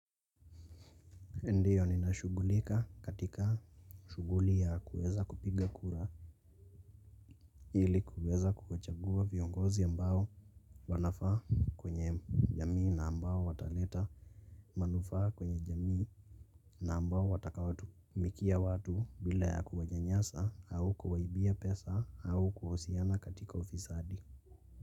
Ndiyo ninashughulika katika shughuli ya kuweza kupiga kura ili kuweza kuchagua viongozi ambao wanafaa kwenye jamii na ambao wataleta manufaa kwenye jamii na ambao watakawatumikia watu bila ya kuwanyanyasa au kuwaibia pesa au kuhusiana katika ufisadi.